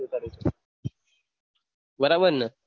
બરાબરને